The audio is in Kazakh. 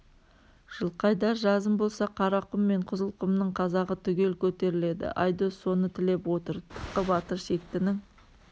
жылқайдар жазым болса қарақұм мен қызылқұмның қазағы түгел көтеріледі айдос соны тілеп отыр тықы батыр шектінің